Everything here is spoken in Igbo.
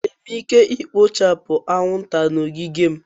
Enwere m ike ikpochapu anwụnta na ogige m?